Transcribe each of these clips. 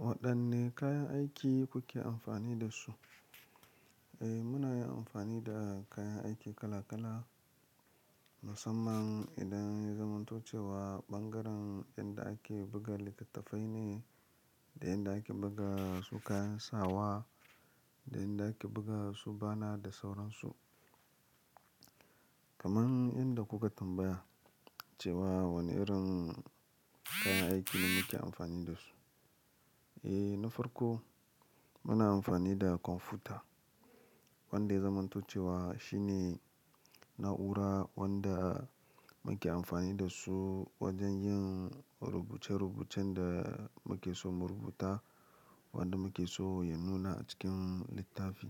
Waɗanne kayan aiki kuke amfani da su? Eh, muna yin amfani da kayan aiki kala kala, musamman idan ya zamanto cewa ɓangaren inda ake buga littattafai ne, da inda ake buga su kayan sawa, da inda ake buga su bana da sauransu. Kaman inda kuka tambaya cewa wane irin kayan aiki muke amfani da su. Eh, na farko muna amfani da kwamfuta, wanda ya zamanto cewa shine na'ura wanda muke amfani da su wajen yin rubuce rubucen da muke so mu rubuta, wanda muke so ya nuna a cikin littafi.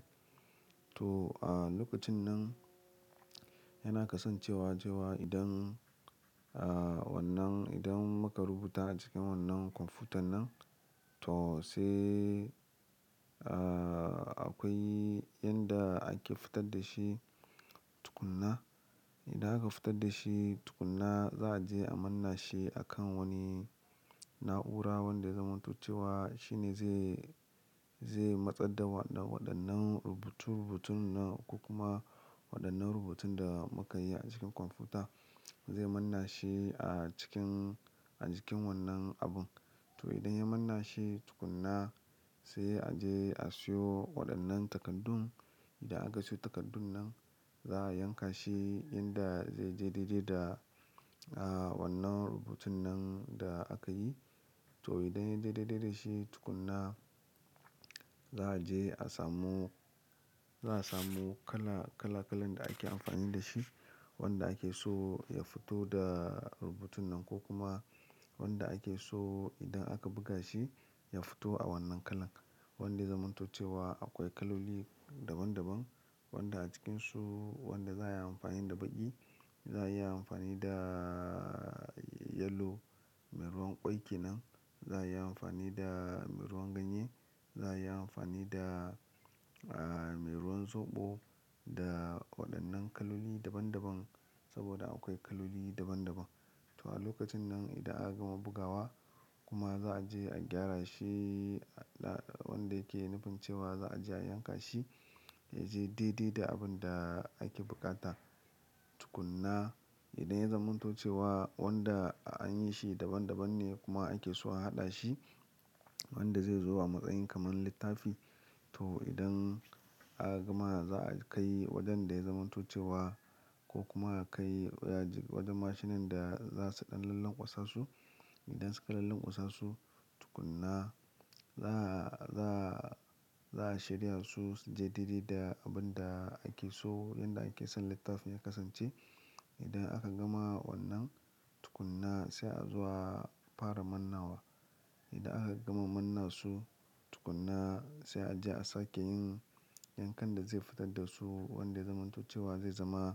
To, a lokacin nan yana kasancewa cewa idan, ah, wannan idan muka rubuta a cikin wannan kwamfutan nan, to sai, ah, akwai yanda ake fitar da shi tukun na. Idan aka fitar da shi tukunna, za a je a manna shi akan wani na'ura wanda ya zamanto cewa. Shi ne zai, zai matsaddawa waɗannan rubutun rubutun nan ko kuma waɗannan rubutun da muka yi a cikin kwamfuta. Zai manna shi a cikin, a cikin wannan abun. To, idan ya manna shi tukuna, sai a je a siyo waɗannan takaddun. Idan aka siyo takaddun nan, za a yanka shi inda zai je daidai da, ah, wannan rubutun nan da aka yi. To, idan ya je daidai da shi tukuna, za a je a samu, za a samu kala, kala kalan da ake amfani da shi, wanda ake so ya fito da rubutun nan ko kuma wanda ake so idan aka buga shi, ya fito a wannan kalan. Wanda ya zamanto cewa akwai kaloli daban daban, wanda a cikinsu wanda za a yi amfani da baƙi, za a yi amfani da yelo, mai ruwan ƙwai ke nan, za a yi amfani da mai ruwan ganye, za a yi amfani da, ah, mai ruwan soɓo, da waɗannan kaloli daban daban, saboda akwai kaloli daban daban. To a lokacin nan idan aka gama bugawa, kuma za a je a gyara shi, ah, wanda yake nufin cewa za a je a yanka shi, ya je dede da abin da ake buƙata. Tukunna idan ya zamanto cewa wanda an yi shi daban daban ne kuma ake so a haɗa shi, wanda zai zo a matsayin kaman littafi. To, idan aka gama za a kai wajen da ya zamanto cewa ko kuma a kai wajen mashinan da za su ɗan lallan kwasasu. Idan suka lallan kwasasu, tukunna za a, za a, za a shirya su su je dede da abin da ake so, yanda ake son littafin ya kasance. Idan aka gama wannan, tukunna sai a zo a fara mannawa. Idan aka gama manna su, tukunna sai a je a sake yin yankan da zai fitar da su, wanda ya zamanto cewa zai zama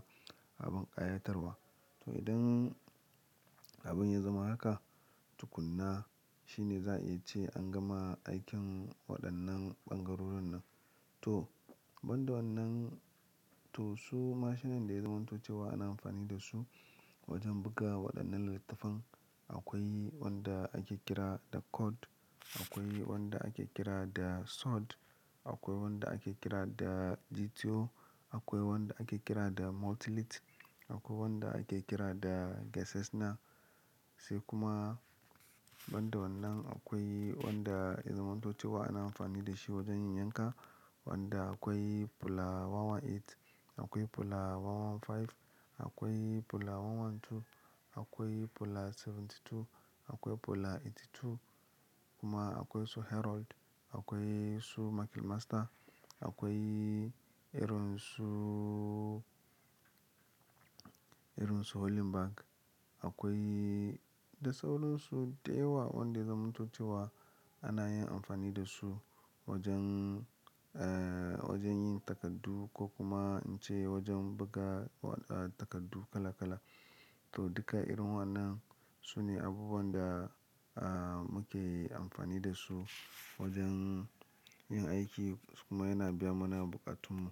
abin ƙayatarwa. To, idan abin ya zama haka, tukunna shi ne za a iya ce an gama aikin waɗannan ɓangarorin nan. To, ban da wannan, to su mashinan da ya zamantucewa ana amfani da su wajen buga waɗannan littattafan, akwai wanda ake kira da Cod, akwai wanda ake kira da Sod, akwai wanda ake kira da GTO, akwai wanda ake kira da Multilit, akwai wanda ake kira da Gassasna. Sai kuma ban da wannan akwai wanda ya zamanto cewa ana amfani da shi wajen yin yanka, wanda akwai polar 118, akwai polar 115, akwai polar 112, akwai polar 72, akwai polar 82, kuma akwai su Herold, akwai su Makil Master, akwai irin su, irin su Hollenback, akwai da sauran su da yawa wanda zamanto cewa ana yin amfani da su wajen, eh, wajen yin takardu ko kuma in ce wajen buga, ah, takardu kala kala. To, duka irin waɗannan su ne abubuwan da, ah, muke amfani da su wajen yin aiki kuma yana biya mana buƙatun mu.